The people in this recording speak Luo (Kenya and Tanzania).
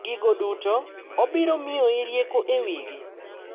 Gigo duto, obiro miyoi rieko e wigi.